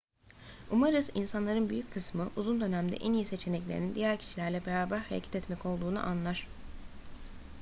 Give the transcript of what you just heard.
umarız insanların büyük kısmı uzun dönemde en iyi seçeneklerinin diğer kişilerle beraber hareket etmek olduğunu anlar